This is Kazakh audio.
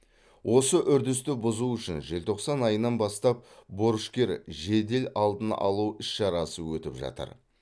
осы үрдісті бұзу үшін желтоқсан айынан бастап борышкер жедел алдын алу іс шарасы өтіп жатыр